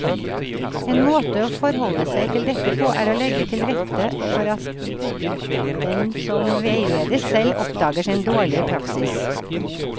En måte å forholde seg til dette på er å legge til rette for at den som veiledes, selv oppdager sin dårlige praksis.